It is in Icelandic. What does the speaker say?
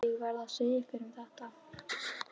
Ég verð að segja einhverjum þetta.